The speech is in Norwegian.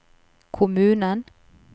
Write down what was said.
kommunen